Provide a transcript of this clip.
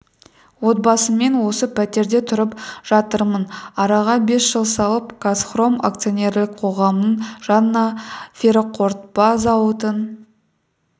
отбасыммен осы пәтерде тұрып жатырмын араға бес жыл салып қазхром акционерлік қоғамының жаңа ферроқорытпа зауытын